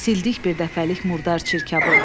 Sildik birdəfəlik murdar çirkabı.